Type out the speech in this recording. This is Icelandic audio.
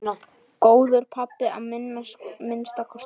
Góður pabbi að minnsta kosti.